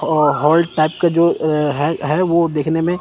और hall type का जो अह है है वो देखने में--